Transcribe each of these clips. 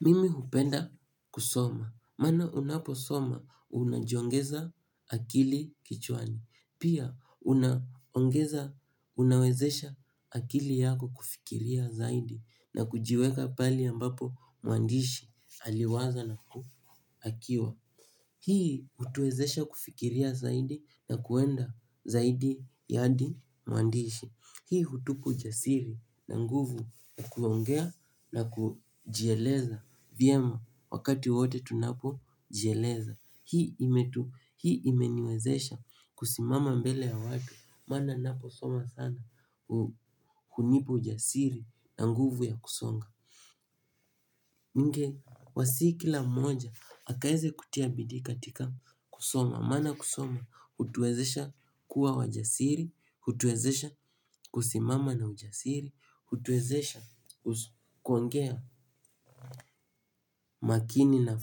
Mimi hupenda kusoma. Maana unaposoma unajiongeza akili kichwani. Pia unawezesha akili yako kufikiria zaidi na kujiweka pali ambapo mwandishi aliwaza na ku akiwa. Hii hutuezesha kufikiria zaidi na kuenda zaidi yadi mwandishi. Hii hutupa ujasiri na nguvu ya kuongea na kujieleza vyema wakati wote tunapojieleza. Hii imeniwezesha kusimama mbele ya watu maana ninaposoma sana hunipa ujasiri na nguvu ya kusonga. Ningewasihi kila mmoja aweze kutia bidii katika kusoma, maana kusoma hutuwezesha kuwa wajasiri, hutuwezesha kusimama na ujasiri, hutuwezesha kuongea makini na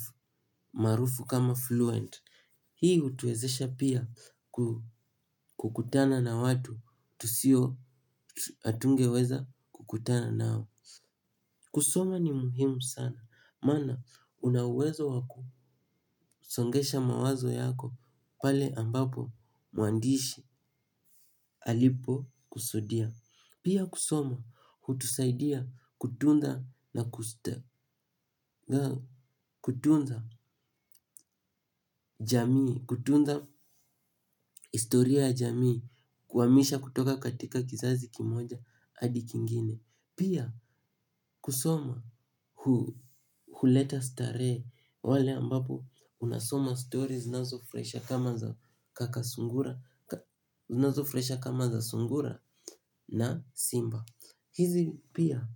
maarufu kama fluent, hii hutuwezesha pia kukutana na watu tusio hatungeweza kukutana nao. Kusoma ni muhimu sana, maana una uwezo wa kusongesha mawazo yako pale ambapo mwandishi alipo kusudia. Pia kusoma hutusaidia kutunda na kutunza jamii kutunza historia ya jamii kuihamisha kutoka katika kizazi kimoja hadi kingine. Pia kusoma huleta starehe pale ambapo unasoma stories zinazofurahisha kama za sungura na simba. Hizi pia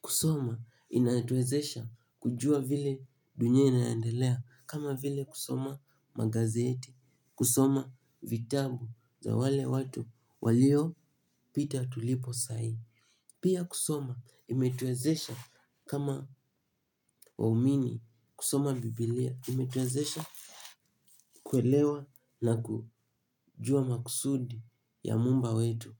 kusoma inatuwezesha kujua vile dunia inaendelea kama vile kusoma magazeti, kusoma vitabu vya wale watu walio pita tulipo sai. Pia kusoma imetuwezesha kama waumini, kusoma biblia imetuwezesha kuelewa na kujua makusudi ya muumba wetu.